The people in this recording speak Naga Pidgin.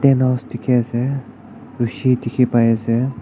tent house dekhi ase rosi dekhi pai ase.